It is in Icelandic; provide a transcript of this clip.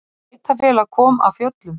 Sveitarfélag kom af fjöllum